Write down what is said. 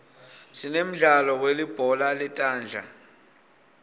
sinemdlalo welibhola letandla